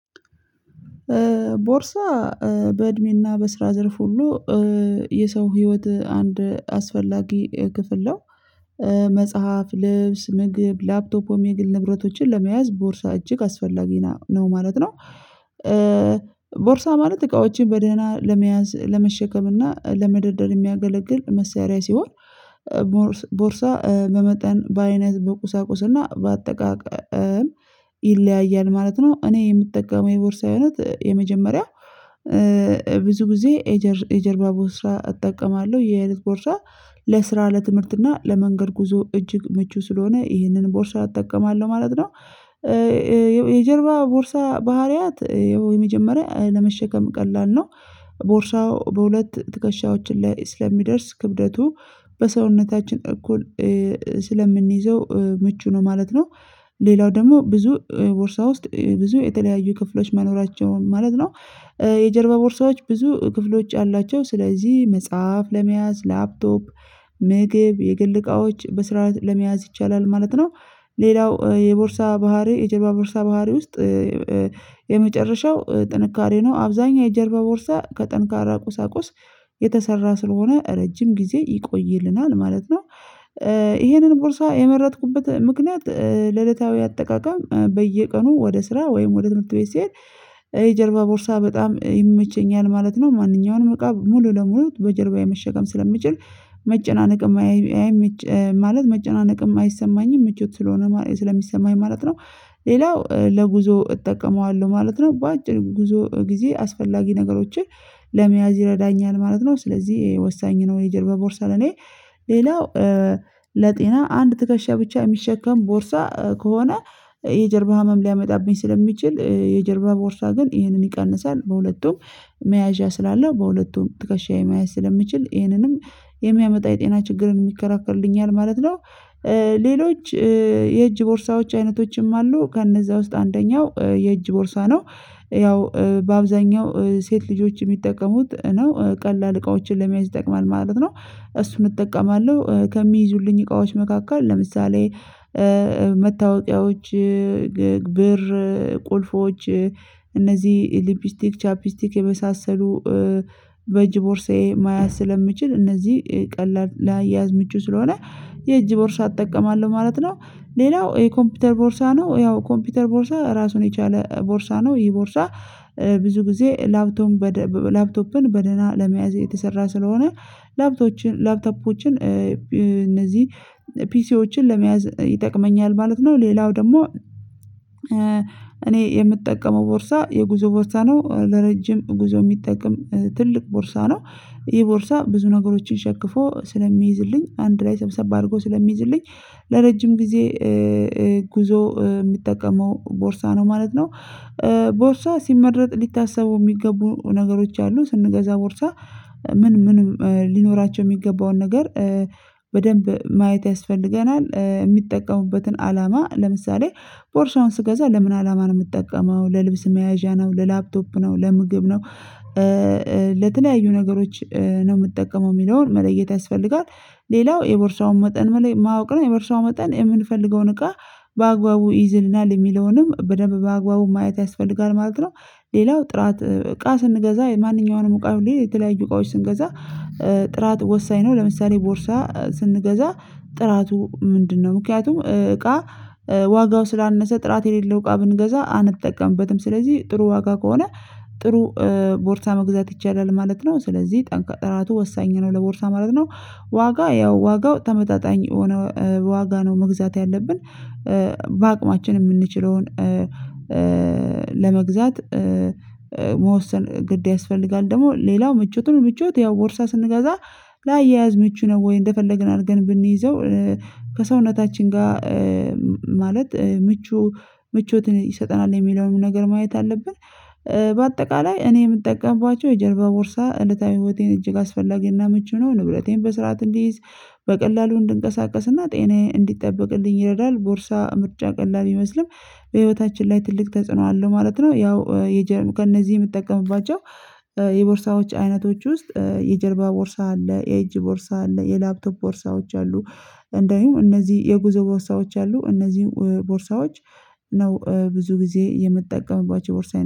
ቦርሳ በእድሜና በስራ ዘርፍ ሁሉ የሰው ህይወት አንድ አስፈላጊ ክፍል ነው። መጽሐፍ ልብስ ምግብ ላፕቶፕ ወይም የግል ንብረቶችን ለመያዝ ቦርሳ እጅግ አስፈላጊ ነው ማለት ነው። ቦርሳ ማለት እቃዎችን በደህና ለመያዝ ለመሸከም እና ለመደርደር የሚያገለግል መሰሪያ ሲሆን። ቦርሳ በመጠን በአይነት በቁሳቁስና በአጠቃቀም ይለያያል ማለት ነው። እኔ የምጠቀመው የቦርሳ እይነት የመጀመሪያው ብዙ ጊዜ ኤጀር የጀርባ ቦርሳ እጠቀማለሁ የህ አይነት ቦርሳ ለስራ ለትምህርት እና ለመንገድ ጉዞ እጅግ ምቹ ስለሆነ ይህንን ቦርሳ እጠቀማለሁ ማለት ነው። የጀርባ ቦርሳ ባህሪያት ያው የመጀመሪያ ለመሸከም ቀላል ነው ቦርሳው በሁለት ትከሻዎችን ላይ ስለሚደርስ ክብደቱ በሰውነታችን እኩል ስለምንይዘው ምቹ ነው ማለት ነው። ሌላው ደግሞ ብዙ ቦርሳ ውስጥ ብዙ የተለያዩ ክፍሎች መኖራቸውን ማለት ነው። የጀርባ ቦርሳዎች ብዙ ክፍሎች አሏቸው ስለዚህ መጽሐፍ ለመያዝ ላፕቶፕ ምግብ የግል እቃዎች በስራአት ለመያዝ ይቻላል ማለት ነው። ሌላው የቦርሳ ባህሪ የጀርባ ቦርሳ ባህሪ ውስጥ የመጨረሻው ጥንካሬ ነው አብዛኛው የጀርባ ቦርሳ ከጠንካራ ቁሳቁስ የተሰራ ስለሆነ ረጅም ጊዜ ይቆይልናል ማለት ነው። ይሄንን ቦርሳ የመረጥኩበት ምክንያት ለለታዊ አጠቃቀም በየቀኑ ወደ ስራ ወይም ወደ ትምህርት ቤት ሲሄድ የጀርባ ቦርሳ በጣም ይመቸኛል ማለት ነው። ማንኛውንም እቃ ሙሉ ለሙሉ በጀርባዬ መሸከም ስለምችል መጨናነቅ የማያይ አይመች ማለት መጨናነቅ አይሰማኝም ምቾት ስለሆነ ስለሚሰማኝ ማለት ነው። ሌላው ለጉዞ እጠቀመዋለሁ ማለት ነው በአጭር ጊዜ አስፈላጊ ነገሮችን ለመያዝ ይረዳኛል ማለት ነው። ስለዚህ ወሳኝ ነው የጀርባ ቦርሳ ለኔ ሌላው ለጤና አንድ ትከሻ ብቻ የሚሸከም ቦርሳ ከሆነ የጀርባ ህመም ሊያመጣብኝ ስለሚችል የጀርባ ቦርሳ ግን ይህንን ይቀንሳል በሁለቱም መያዣ ስላለው በሁለቱም ትከሻዬ መያዣ ስለምችል ይህንንም የሚያመጣ የጤና ችግርን የከራከልልኛል ማለት ነው። ሌሎች የእጅ ቦርሳዎች አይነቶችም አሉ ከእነዛ ውስጥ አንደኛው የእጅ ቦርሳ ነው ያው በአብዛኛው ሴት ልጆች የሚጠቀሙት ነው ቀላል እቃዎችን ለመያዝ ይጠቅማል ማለት ነው። እሱን እጠቀማለሁ ከሚይዙልኝ እቃዎች መካከል ለምሳሌ መታወቂያዎች ብር ቁልፎች እነዚህ ሊፕስቲክ ቻፕስቲክ የመሳሰሉ በእጅ ቦርሳዬ መያዝ ስለምችል እነዚህ ቀላል ለአያያዝ ምቹ ስለሆነ የእጅ ቦርሳ እጠቀማለሁ ማለት ነው። ሌላው የኮምፒውተር ቦርሳ ነው ያው ኮምፒውተር ቦርሳ ራሱን የቻለ ቦርሳ ነው ይሄ ቦርሳ ብዙ ጊዜ ላፕቶም ላፕቶፕን በደህና ለመያዝ የተሰራ ስለሆነ ላፕቶችን ላፕተፖችን እነዚህ ፒሲዎችን ለመያዝ ይጠቅመኛል ማለት ነው። ሌላው ደግሞ እኔ የምጠቀመው ቦርሳ የጉዞ ቦርሳ ነው ለረጅም ጉዞ የሚጠቅም ትልቅ ቦርሳ ነው። ይህ ቦርሳ ብዙ ነገሮችን ሸክፎ ስለሚይዝልኝ አንድ ላይ ሰብሰብ አድርጎ ስለሚይዝልኝ ለረጅም ጊዜ ጉዞ የምጠቀመው ቦርሳ ነው ማለት ነው። ቦርሳ ሲመረጥ ሊታሰቡ የሚገቡ ነገሮች አሉ ስንገዛ ቦርሳ ምን ምንም ሊኖራቸው የሚገባውን ነገር በደንብ ማየት ያስፈልገናል። የሚጠቀሙበትን አላማ ለምሳሌ ቦርሳውን ስገዛ ለምን አላማ ነው የምጠቀመው ለልብስ መያዣ ነው ለላፕቶፕ ነው ለምግብ ነው ለተለያዩ ነገሮች ነው የምትጠቀመው የሚለውን መለየት ያስፈልጋል። ሌላው የቦርሳውን መጠን መለይ ማወቅ ነው የቦርሳውን መጠን የምንፈልገውን እቃ በአግባቡ ይይዝልናል የሚለውንም በደንብ በአግባቡ ማየት ያስፈልጋል ማለት ነው። ሌላው ጥራት እቃ ስንገዛ የማንኛውንም እቃ ሁሌ የተለያዩ እቃዎች ስንገዛ ጥራት ወሳኝ ነው ለምሳሌ ቦርሳ ስንገዛ ጥራቱ ምንድነው? ምክንያቱም እቃ ዋጋው ስላነሰ ጥራት የሌለው እቃ ብንገዛ አንጠቀምበትም ስለዚህ ጥሩ ዋጋ ከሆነ ጥሩ ቦርሳ መግዛት ይቻላል ማለት ነው ስለዚህ ጠንካራ ጥራቱ ወሳኝ ነው ለቦርሳ ማለት ነው። ዋጋ ያው ዋጋው ተመጣጣኝ የሆነ ዋጋ ነው መግዛት ያለብን በአቅማችን የምንችለውን ለመግዛት መወሰን ግድ ያስፈልጋል። ደግሞ ሌላው ምቾቱ ነው ምቾት ያው ቦርሳ ስንገዛ ላያያዝ ምቹ ነው ወይ እንደፈለግን አድርገን ብንይዘው ከሰውነታችን ጋር ማለት ምቹ ምቾትን ይሰጠናል የሚለውን ነገር ማየት አለበት። በአጠቃላይ እኔ የምጠቀምባቸው የጀርባ ቦርሳ እለታዊ ህይወቴን እጅግ አስፈላጊና ምቹ ነው ንበረቴን በስርዓት እንዲይዝ በቀላሉ እንድንቀሳቀስና ጤናዬ እንዲጠበቅልኝ ይረዳል ቦርሳ ምርጫ ቀላል ቢመስልም በህይወታችን ላይ ትልቅ ተጽዕኖ አለው ማለት ነው። ያው የጀርባ ከእነዚህ የምትጠቀምባቸው የቦርሳዎች አይነቶች ውስጥ የጀርባ ቦርሳ አለ የእጅ ቦርሳ አለ የላፕቶፕ ቦርሳዎች አሉ እንደውም እነዚህ የጉዞ ቦርሳዎች አሉ እነዚህም ቦርሳዎች ነው ብዙ ጊዜ የምትጠቀምባቸው ቦርሳ